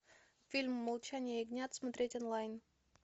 фильм молчание ягнят смотреть онлайн